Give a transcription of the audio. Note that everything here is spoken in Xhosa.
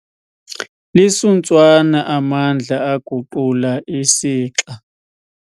Lisuntswana amandla aguqula isixa.